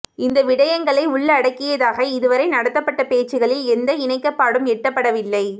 இந்த விடயங்களை உள்ளடக்கியதாக இதுவரை நடத்தப்பட்ட பேச்சுக்களில் எந்த இணக்கப்பாடும் எட்டப்படவில்லை